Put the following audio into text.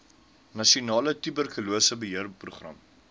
nasionale tuberkulose beheerprogram